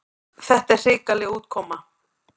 Þetta sé hrikaleg útkoma.